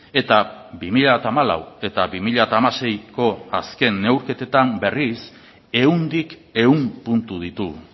eta bi mila hamalau eta bi mila hamaseiko azken neurketetan berriz ehundik ehun puntu ditugu